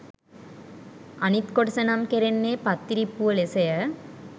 අනිත් කොටස නම් කෙරෙන්නේ පත්තිරිප්පුව ලෙස ය.